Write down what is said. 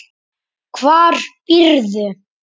Hvar býrðu?